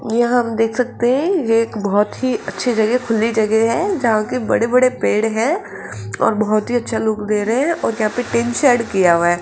यहां हम देख सकते हैं ये एक बहोत ही अच्छी जगह खुली जगह है जहां के बड़े-बड़े पेड़ हैं और बहोत ही अच्छा लुक दे रहे हैं और यहां पे टीन-शेड किया हुआ है।